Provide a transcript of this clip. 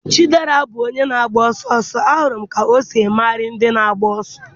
chidera bụ onye na-agba ọsọ ọsọ, ahụrụ m ka o si emegharị ndị na-agba ọsọ.